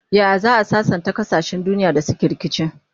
Yaya za'a sassanta kasashen duniya da suke rikici?